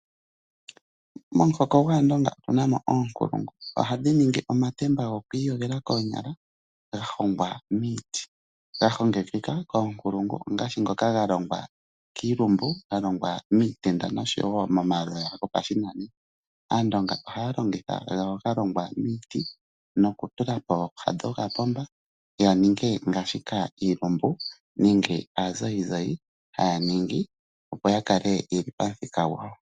Momuhoko gwaandonga otu na mo oonkulungu. Ohadhi ningi omatemba goku iyogela koonyala ga hongwa miiti, ga hongekeka koonkulungu ongaashi ngoka ga longwa kiilumbu, ga longwa miitenda noshowo momaloya gopashinanena. Aandonga ohaya longitha ngono ga longwa miiti noku tula pooha dhokapomba ya ninge ngaashika iilumbu nenge aanzayinzayi haya ningi opo ya kale yeli pamuthika gwawo.